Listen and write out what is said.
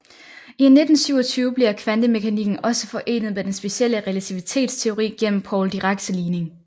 I 1927 bliver kvantemekanikken også forenet med den specielle relativitetsteori gennem Paul Diracs ligning